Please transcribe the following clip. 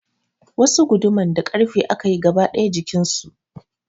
Wasu guduman na da ƙarfe aka yi gaba daya jikin su.